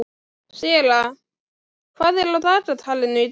Sera, hvað er á dagatalinu í dag?